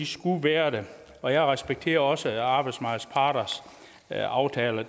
skulle være der og jeg respekterer også arbejdsmarkedets parters aftaler